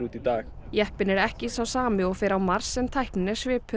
í dag jeppinn er ekki sá sami og fer á Mars en tæknin er svipuð